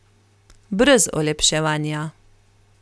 Brez olepševanja.